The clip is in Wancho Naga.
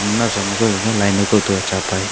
naosa lukeh ye gagai laino kauto ye cha pa te.